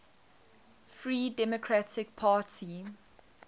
free democratic party